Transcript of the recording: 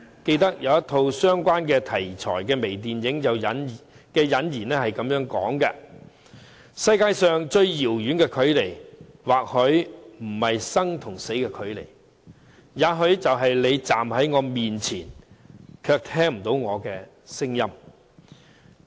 記得有一套相關題材的微電影引言是這樣說："世界上最遙遠的距離，或許不是生與死的距離；也許是你站在我面前，卻聽不見我的聲音"。